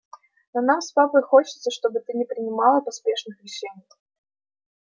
но нам с папой хочется чтобы ты не принимала поспешных решений